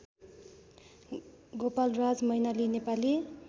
Gopalraj Mainali Nepali